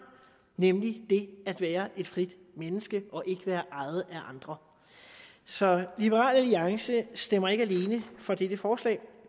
nemlig det at være et frit menneske og ikke være ejet af andre så liberal alliance stemmer ikke alene for dette forslag